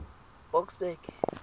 boksburg